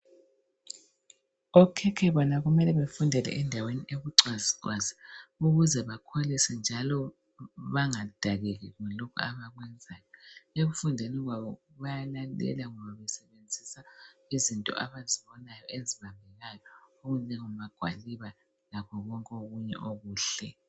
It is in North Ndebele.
Okhekhe bona kumele befundele endaweni ebucwazicwazi ukuze bakholise njalo bangadakeki kulokhu abakwenzayo ekufundeni kwabo bayalandela ngokusebenzisa izinto abazibonayo ezibambekayo okunjengamagwaliba lakho konke okunye okuhle